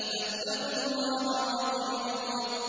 فَاتَّقُوا اللَّهَ وَأَطِيعُونِ